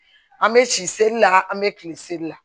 An bɛ si seli la an bɛ kilen seli la